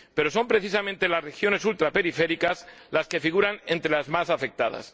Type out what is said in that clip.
Pero son precisamente las regiones ultraperiféricas las que figuran entre las más afectadas.